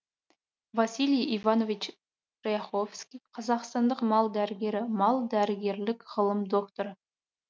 василий иванович ряховский қазақстандық мал дәрігері мал дәрігерлік ғылым докторы